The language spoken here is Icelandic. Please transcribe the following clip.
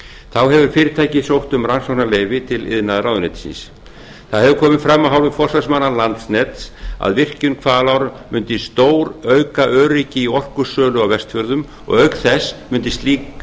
þá hefur fyrirtækið sótt um rannsóknarleyfi til iðnaðarráðuneytisins það hefur komið fram af hálfu forsvarsmanna landsnets að virkjun hvalár mundi stórauka öryggi í orkusölu á vestfjörðum og auk þess mundi slík